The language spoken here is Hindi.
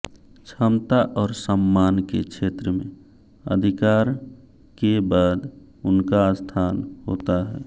क्षमता और सम्मान के क्षेत्र में अधिकार के बाद उनका स्थान होता है